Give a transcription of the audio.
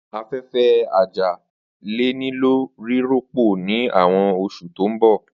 Afẹfẹ aja le nilo rirọpo ni awọn oṣu to n bọ.